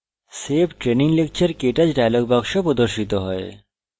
save training lecturektouch dialog box প্রদর্শিত হয়